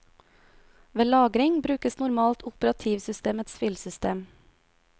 Ved lagring brukes normalt operativsystemets filsystem.